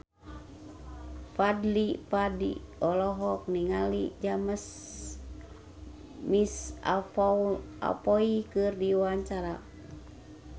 Fadly Padi olohok ningali James McAvoy keur diwawancara